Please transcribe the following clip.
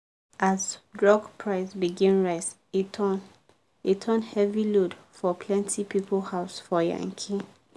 as drug price begin rise e turn e turn heavy load for plenty people house for yankee